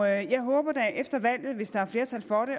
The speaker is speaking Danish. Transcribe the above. jeg håber da efter valget hvis der er flertal for det